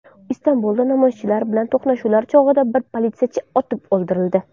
Istanbulda namoyishchilar bilan to‘qnashuvlar chog‘ida bir politsiyachi otib o‘ldirildi.